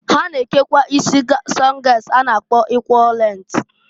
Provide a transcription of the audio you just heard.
Ha na-ekekwa isi sungas a na-akpọ eqaul length.